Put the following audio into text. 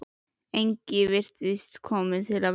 Enginn virtist kominn til að versla.